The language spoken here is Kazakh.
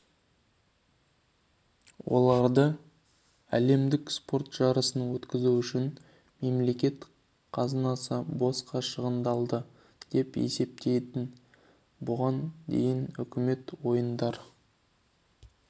олар әлемдік спорт жарысын өткізу үшін мемлекет қазынасы босқа шығындалды деп есептейді бұған дейін үкімет ойындар